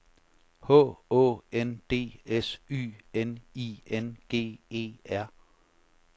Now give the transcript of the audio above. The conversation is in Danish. H Å N D S Y N I N G E R